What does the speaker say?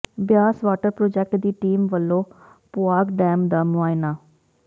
Beas water project ਦੀ team ਵਲੋਂ ਪੌ ਾਗ ਡੈਮ ਦਾ ਮੁਆਇਨਾ